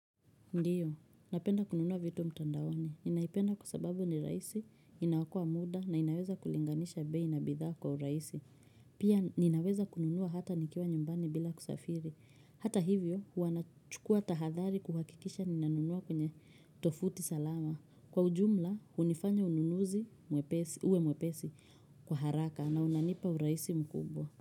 Ndiyo, napenda kununua vitu mtandaoni. Ninaipenda kwa sababu ni raisi, inaokoa muda na ninaweza kulinganisha bei na bidhaa kwa uraisi. Pia ninaweza kununua hata nikiwa nyumbani bila kusafiri. Hata hivyo, hua nachukua tahadhari kuhakikisha ninanunua kwenye tofuti salama. Kwa ujumla, hunifanya ununuzi uwe mwepesi kwa haraka na unanipa uraisi mkubwa.